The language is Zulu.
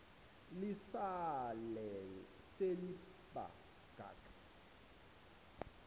lisale seliba ngaka